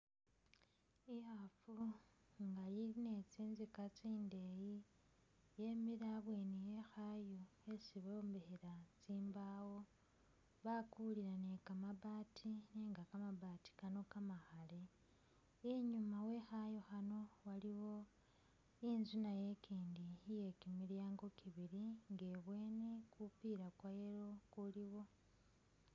Ikhaafu nga ili ne tsinzika tsindeeyi yemile ibweni e khaayu khhesi bombekhela tsimbawo bakulila ne kambaati nenga kamabaati kano kamakhale, inyuma wekhaayu khano waliwo inzu nayo ikindi iye kimilyango kibili kilimo nga ibweni kupula kwa yellow kuliwo